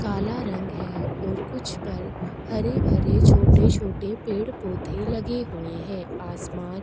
काला रंग है और कुछ पर हरे-भरे छोटे-छोटे पेड़-पौधे लगे हुए हैं आसमान --